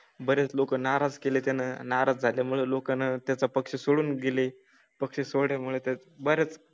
बरेच लोक नाराज केले ते नाराज झाल्या मुळे लोकांना त्याचा पक्ष सोडून गेले पक्ष सोड य़ामुळे तर बरंच